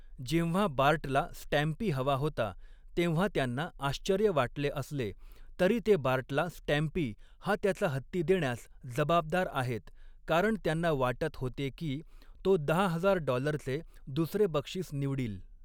जेव्हा बार्टला स्टॅम्पी हवा होता, तेव्हा त्यांना आश्चर्य वाटले असले, तरी ते बार्टला स्टॅम्पी हा त्याचा हत्ती देण्यास जबाबदार आहेत, कारण त्यांना वाटत होते की तो दहा हजार डॉलरचे दुसरे बक्षीस निवडील.